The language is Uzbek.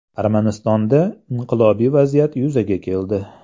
Armanistonda inqilobiy vaziyat yuzaga keldi.